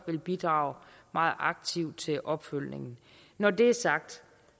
vil bidrage meget aktivt til opfølgningen når det er sagt